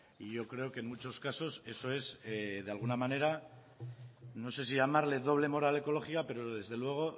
y yo creo que en muchos casos eso es en alguna manera no sé si llamarle doble moral ecológica pero desde luego